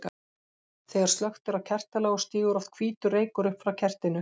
Þegar slökkt er á kertaloga stígur oft hvítur reykur upp frá kertinu.